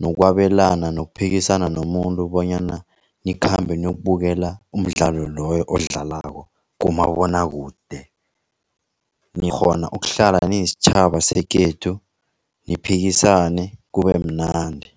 nokwabelana nokuphikisana nomuntu bonyana nikhambe nokubukela umdlalo loyo odlalako kumabonwakude. Nikghona ukuhlala nesitjhaba sekhethu niphikisane kubemnandi.